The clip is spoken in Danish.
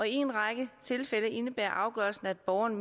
en række tilfælde indebærer afgørelsen at borgeren